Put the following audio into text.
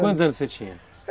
Quantos anos você tinha?